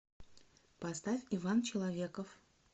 поставь иван человеков